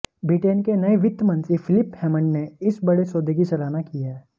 Britain के नए वित्त मंत्री फिलिप हैमंड ने इस बड़े सौदे की सराहना की है